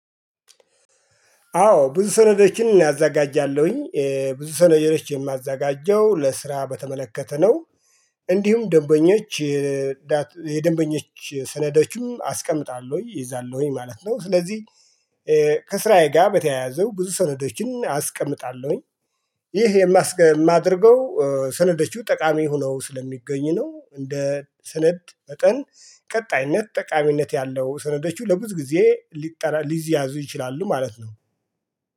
አዎ ብዙ ሰነዶችን እኔ አዛጋጃለሁኝ ብዙ ሰነዶች የማዛጋጀው ለስራ በተመለከተ ነው። እንዲሁም ደንበኞች የደንበኞች ሰነዶችም አስቀምጣለሁ እይዛለሁኝ ማለት ነው። ስለዚህ ከስራዬ ጋር በተያያዘው ብዙ ሰነዶችን አስቀምጣለሁኝ። ይሄ የማስገ የማደርገው ሰነዶቹ ጠቃሚ ሆነው ስለሚገኙ ነው። እንደ ስነድ መጠን ቀጣይነት ጠቃሚነት ያለው ስነዶቹ ለብዙ ጊዜ ሊጠ ሊያዙ ይችላሉ ማለት ነው